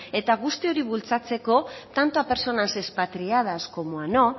guzti hori bultzatzeko tanto a personas expatriadas como a no